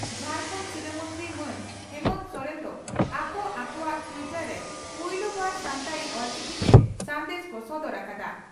ᱡᱷᱟᱨᱠᱷᱟᱱᱰ ᱥᱤᱨᱟᱹ ᱢᱚᱱᱛᱨᱤ ᱢᱟᱱ ᱦᱮᱢᱚᱱᱛᱚ ᱥᱚᱨᱮᱱ ᱫᱚ ᱟᱠᱚ ᱟᱠᱚᱣᱟᱜ ᱴᱤᱭᱴᱚᱨ ᱨᱮ ᱯᱩᱭᱞᱩ ᱵᱟᱨ ᱥᱟᱱᱛᱟᱲᱤ (ᱚᱞᱪᱤᱠᱤ) ᱛᱮ ᱥᱟᱸᱫᱮᱥ ᱠᱚ ᱥᱚᱫᱚᱨ ᱟᱠᱟᱫᱼᱟ ᱾